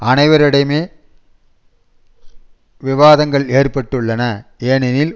அனைவரிடையுமே விவாதங்கள் ஏற்பட்டுள்ளன ஏனெனில்